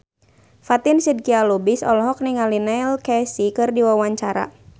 Fatin Shidqia Lubis olohok ningali Neil Casey keur diwawancara